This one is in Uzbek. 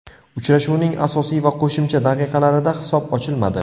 Uchrashuvning asosiy va qo‘shimcha daqiqalarida hisob ochilmadi.